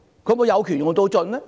她是否有權用盡呢？